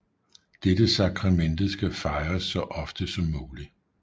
Dette sakramente skal fejres så ofte som muligt